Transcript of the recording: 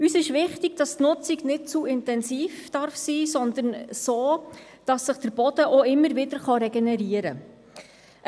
Uns ist wichtig, dass die Nutzung nicht zu intensiv sein darf, sondern so, dass sich der Boden auch immer wieder regenerieren kann.